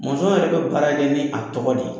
Mɔnzɔn yɛrɛ bɛ baara kɛ ni a tɔgɔ de ye